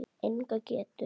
Enga getu.